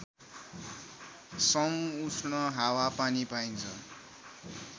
समउष्ण हावापानी पाइन्छ